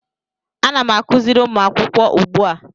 Ana m akụziri ụmụ akwụkwọ ugbua